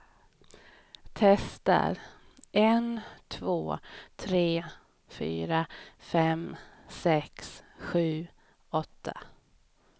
Testar en två tre fyra fem sex sju åtta.